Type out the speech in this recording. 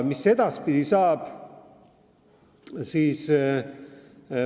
Mis edaspidi saab?